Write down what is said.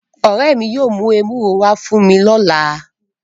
Ore mi yóò mu ewuro wa fun mi lọla